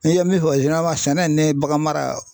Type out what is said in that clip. N'i ye min fɔ sɛnɛ ne ye bagan mara